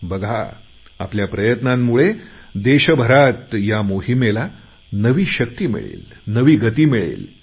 बघा आपल्या प्रयत्नांमुळे देशभरात या मोहिमेला नवी शक्ती मिळेल नवी गती मिळेल